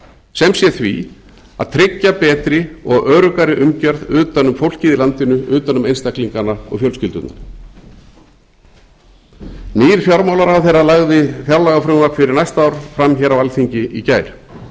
sem sé því að tryggja betri og öruggari umgerð utan um fólkið í landinu utan um einstaklingana og fjölskyldurnar nýr fjármálaráðherra lagði fjárlagafrumvarp fyrir næsta ár fram á alþingi í gær